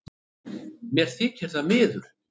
Mér þykir það miður